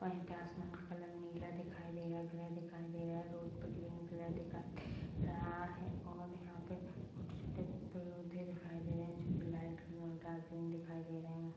यहां पे आसमान का कलर नीला दिखाई दे रहा है ग्रे दिखाई दे रहा है रोड पर ग्रीन कलर दिखाई दे रहा है और यहां पर छोटे छोटे पौधे दिखाई दे रहे है जो की लाइट ग्रीन और डार्क ग्रीन दिखाई दे रहे है।